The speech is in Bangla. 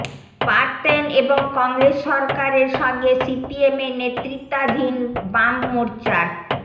পারতেন এবং কংগ্রেস সরকারের সঙ্গে সিপিএমের নেতৃত্বাধীন বাম মোর্চার